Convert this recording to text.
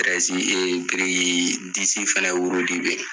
Tirɛzi ee biriki disi fɛnɛ wurudi be ye